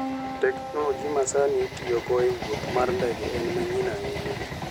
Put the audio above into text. Teknoloji masani itiyogo e wuoth mar ndege en manyien ahinya.